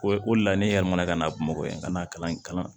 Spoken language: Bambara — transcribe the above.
O o de la ne yɛlɛmana ka na bamakɔ yann'a kalan in kalan